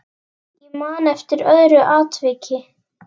Ég man eftir öðru atviki.